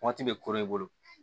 Waati bɛ koro i bolo